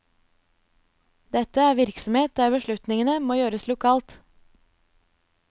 Dette er virksomhet der beslutningene må gjøres lokalt.